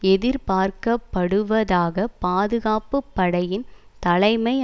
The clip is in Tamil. எதிர்பார்க்கப்படுவதாக பாதுகாப்பு படையின் தலைமை